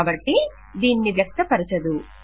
కాబట్టి దీనిని వ్యక్తపరచదు